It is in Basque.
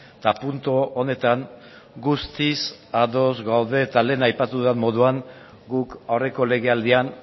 eta puntu honetan guztiz ados gaude eta lehen aipatu dudan moduan guk aurreko legealdian